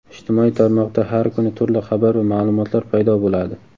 Ijtimoiy tarmoqda har kuni turli xabar va ma’lumotlar paydo bo‘ladi.